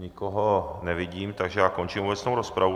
Nikoho nevidím, takže já končím obecnou rozpravu.